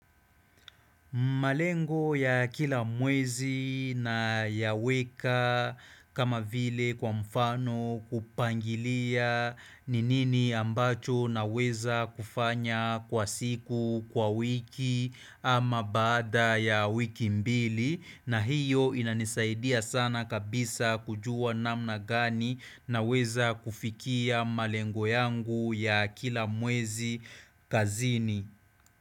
Malengo ya kila mwezi na yaweka kama vile kwa mfano kupangilia ni nini ambacho na weza kufanya kwa siku, kwa wiki ama baada ya wiki mbili na hiyo inanisaidia sana kabisa kujua namna gani na weza kufikia malengo yangu ya kila mwezi kazini.